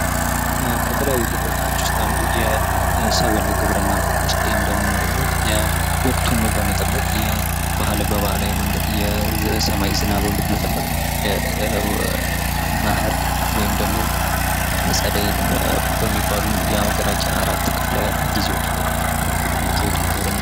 የተለያዩ ግብርናዎች ውስጥ አንዱ ሰብል ግብርና ብንወስድ ይህም ደግሞ ወቅቱን በመጠበቅ በባህላዊ መንገድ ዝናብን በመጠበቅ መኸር ወይም ደግሞ ፀደይ በሚባሉ በሀገራችን አራት ክፍለ ጊዜዎችን በመጠቀም የሚካሄድ ግብርና ።